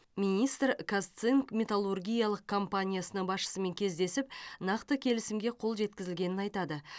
министр казцинк металлургиялық компаниясының басшысымен кездесіп нақты келісімге қол жеткізілгенін айтады